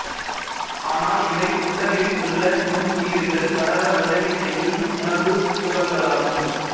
ஆனால் இவை குடலில் உள்ள நுண்ணுயிரிகள் வளர உதவி செய்யும் உணவுத் துகள்களாகும்